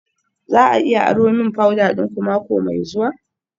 Za a iya aro min powder dinku mako mai zuwa?